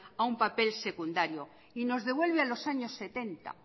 a un papel secundario y nos devuelve a los años setenta